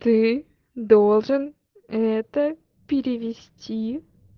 ты должен это перевести